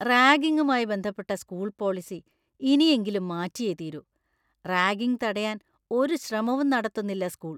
റാഗിങ്ങുമായി ബന്ധപ്പെട്ട school policy ഇനിയെങ്കിലും മാറ്റിയേ തീരൂ; റാഗിംഗ് തടയാൻ ഒരു ശ്രമവും നടത്തുന്നില്ല സ്‌കൂൾ.